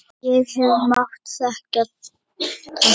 Ég hefði mátt þekkja táknið.